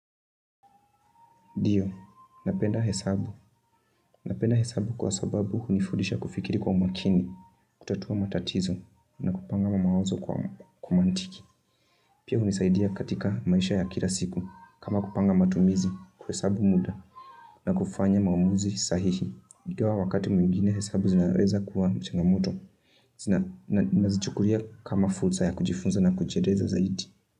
Ndio, napenda hesabu, napenda hesabu kwa sababu hunifudisha kufikiri kwa umakini, kutatua matatizo na kupanga mawazo kwa kimaantiki. Pia hunisaidia katika maisha ya kila siku kama kupanga matumizi kuhesabu muda na kufanya maamuzi sahihi. Ingawa wakati mwingine hesabu zinaweza kuwa changamoto, nazichukulia kama fursa ya kujifunza na kujiendeza zaidi.